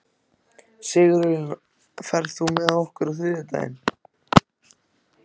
Sigurlína, ferð þú með okkur á þriðjudaginn?